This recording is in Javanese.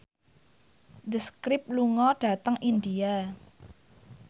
The Script lunga dhateng India